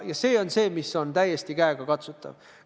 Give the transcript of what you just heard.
See on see, mis on täiesti käegakatsutav.